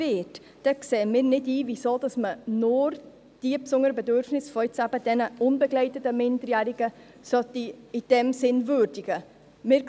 Deswegen sehen wir nicht ein, weshalb man nur die besonderen Bedürfnisse der unbegleiteten Minderjährigen in diesem Sinne würdigen sollte.